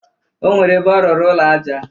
O nwere ebe ọ rụrụ ụlọ aja.